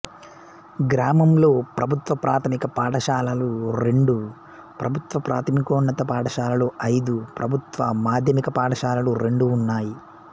గ్రామంలో ప్రభుత్వ ప్రాథమిక పాఠశాలలు రెండు ప్రభుత్వ ప్రాథమికోన్నత పాఠశాలలు ఐదు ప్రభుత్వ మాధ్యమిక పాఠశాలలు రెండు ఉన్నాయి